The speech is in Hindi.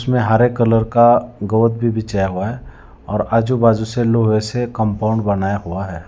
इसमें हरे कलर का गोद भी बिछाया हुआ है और आजू बाजू से लोहे से कंपाउंड बनाया हुआ है।